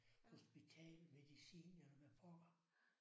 Hospital medicin eller hvad pokker